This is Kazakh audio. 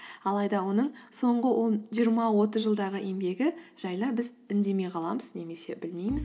алайда оның соңғы он жиырма отыз жылдағы еңбегі жайлы біз үндемей қаламыз немесе білмейміз